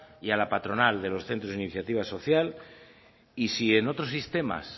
y a la patronal de los centros de iniciativa social y si en otros sistemas